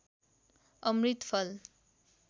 अमृत फल